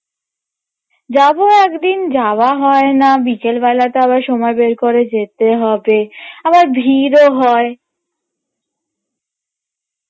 যাবো একদিন যাওয়া হয় না বিকেলবেলাটা আবার সময় বার করে যেতে হবে আবার ভীড়ও হয়